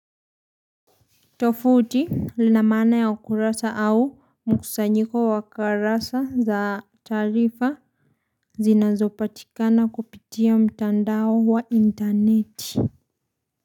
Tofuti lina maana ya ukurasa au mkusanyiko wa karasa za taarifa zinazopatikana kupitia mtandao wa interneti.